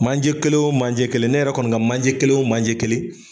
Manje kelen o manje kelen, ne yɛrɛ kɔni ka manje kelen o manje kelen